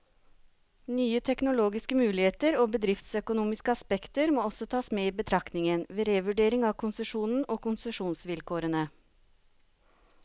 Nye teknologiske muligheter og bedriftsøkonomiske aspekter må også tas med i betraktningen, ved revurdering av konsesjonen og konsesjonsvilkårene.